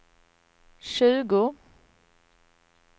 tjugo